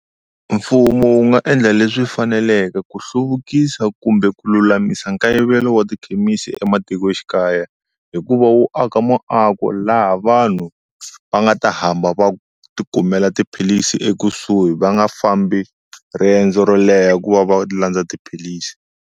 Mfumo wu nga endla leswi faneleke ku hluvukisa kumbe ku lulamisa nkayivelo wa tikhemisi ematikoxikaya hi ku va wu aka muako laha vanhu va nga ta hamba va ti kumela tiphilisi ekusuhi va nga fambi riendzo ro leha ku va va landza tiphilisi.